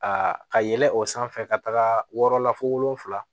Aa ka yɛlɛn o sanfɛ ka taga yɔrɔ la fo wolonfila